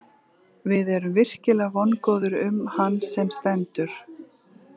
Við erum virkilega vongóðir um hann sem stendur.